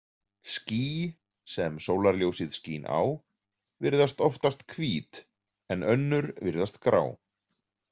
Ský, sem sólarljósið skín á, virðast oftast hvít, en önnur virðast grá.